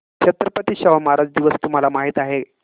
छत्रपती शाहू महाराज दिवस तुम्हाला माहित आहे